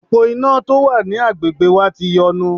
Òpó iná tó wà ní agbègbè wa ti yọnu.